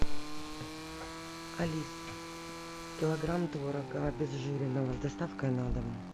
алиса килограмм творога обезжиренного с доставкой на дом